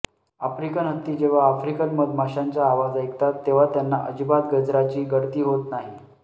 African हत्ती जेव्हा African मधमाशांच्या आवाज ऐकतात तेव्हा त्यांना अजिबात गजराची गळती होत नाही